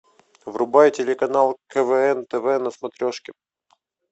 врубай телеканал квн тв на смотрешке